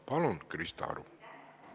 Palun, Krista Aru!